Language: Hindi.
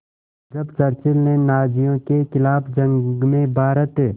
जब चर्चिल ने नाज़ियों के ख़िलाफ़ जंग में भारत